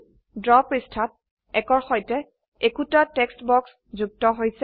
draw পৃষ্ঠাত ১ কৰ সৈতে একোটা টেক্সট বাক্স যুক্ত হৈছে